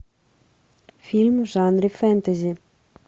фильм в жанре фэнтези